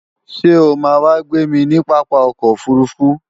Ṣé o máa wá gbémi ní pápá ọkọ̀ òfurufú?